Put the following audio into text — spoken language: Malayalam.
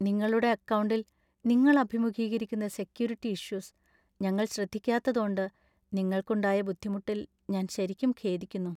നിങ്ങളുടെ അക്കൗണ്ടിൽ നിങ്ങൾ അഭിമുഖീകരിക്കുന്ന സെക്യൂരിറ്റി ഇഷ്യൂസ് ഞങ്ങൾ ശ്രദ്ധിക്കാത്തതോണ്ട് നിങ്ങൾക്ക് ഉണ്ടായ ബുദ്ധിമുട്ടിൽ ഞാൻ ശരിക്കും ഖേദിക്കുന്നു.